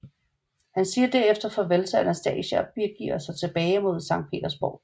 Han siger derefter farvel til Anastasia og begiver sig tilbage mod Sankt Petersborg